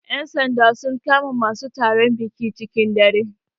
Yan sanda sun kama masu taron biki cikin dare